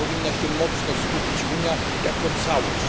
Na tym powinna się mocno skupić Unia jako całość.